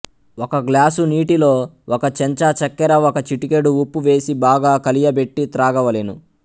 ఒక గ్లాసు నీటిలో ఒక చెంచా చక్కెర ఒక చిటికెడు ఉప్పు వేసి బాగా కలియబెట్టి త్రాగవలెను